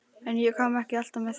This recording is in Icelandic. En ég kom ekki alltaf með heim.